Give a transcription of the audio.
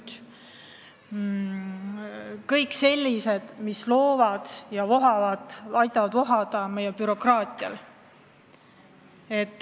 Need on kõik sellised üksused, mis loovad bürokraatiat ja aitavad sel vohada.